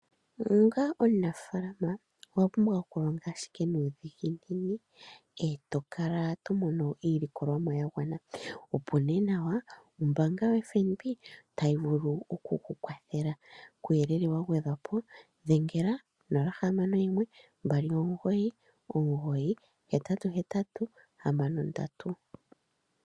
Onga omunafaalama owa pumbwa okulonga ashike nuudhiginini e to kala to mono iilikolomwa ya gwana, opo nee nawa ombaanga yoFNB tayi vulu oku ku kukwathela. Kuuyelele wa gwedhwa po dhengela nee ko 061 2998883